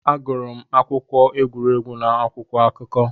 Agụrụ m akụkọ egwuregwu n'akwụkwọ akụkọ.